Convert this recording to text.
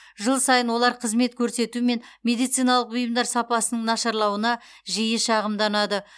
жыл сайын олар қызмет көрсету мен медициналық бұйымдар сапасының нашарлауына жиі шағымданады